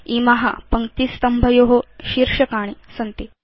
इमा पङ्क्तिस्तम्भयो शीर्षकाणि सन्ति